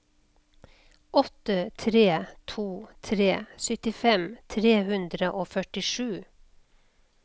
åtte tre to tre syttifem tre hundre og førtisju